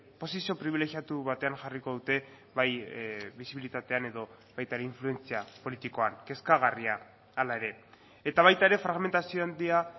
posizio pribilegiatu batean jarriko dute bai bisibilitatean edo baita ere influentzia politikoan kezkagarria hala ere eta baita ere fragmentazio handia